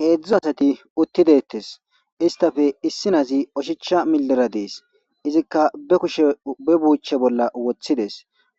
heedzdzu asati uttideettes istafe issi naazi oshicha millira dees izikka ushbe buuche bolla woththides